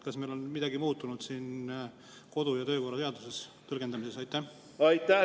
Kas on midagi muutunud kodu‑ ja töökorra seaduse tõlgendamises?